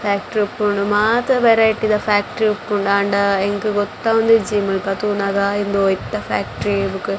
factory ಇಪ್ಪೊಡು ಮಾತ variety ದ ಫ್ಯಾಕ್ಟ್ರಿ ಇಪ್ಪುಂಡು ಆಂಡ ಎಂಕ್ ಗೊತ್ತವೊಂದಿಜ್ಜಿ ಮುಲ್ಪ ತೂನಗ ಇಂದು ಒಯಿತಾ ಫ್ಯಾಕ್ಟ್ರಿ --